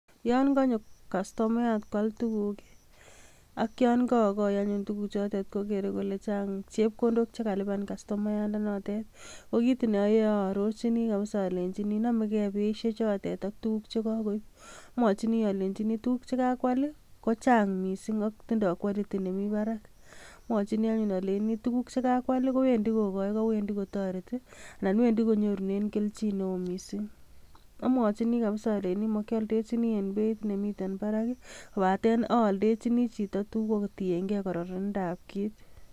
Yon kanyo kastomayat kwal tuguk ii ak yon kogoi anyun tuguchotet ii, kogere kole chang chepkondok che kaluban kastomayatndenotet. Ko kit neayoe aarorchini kabisa alenjini namege beisiechotet ak tuguk che kagoip. Amwachini alenjini tugul che kakwal ii ko chang mising ak tindo quality nemi barak. Amwachini anyun aleini tuguk che kakwal ii kowendi kogoi, kokwendi kotoreti anan wendi konyorunen keljin neo mising. Amwachini kabisa aleini makialdechini eng beit nemiten barak kopaten aaldechini chito tugul kotienge kororonindab kit.